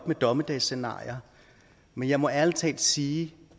med dommedagsscenarier men jeg må ærlig talt sige